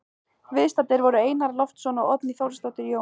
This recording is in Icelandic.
Viðstaddir voru Einar Loftsson og Oddný Þorsteinsdóttir, Jón